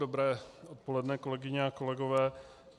Dobré odpoledne, kolegyně a kolegové.